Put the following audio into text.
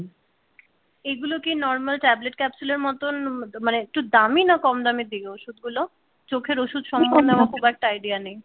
এগুলো কি normal tablet capsule এর মতন মানে একটু দামি না কম দামের দিকে ওষুধগুলো চোখের ওষুধ সম্বন্ধে আমার খুব একটা আইডিয়া নেই?